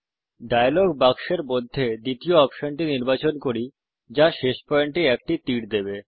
dialogue বাক্সের মধ্যে দ্বিতীয় অপশনটি নির্বাচন করি যা শেষ পয়েন্ট এ একটি তীর দেবে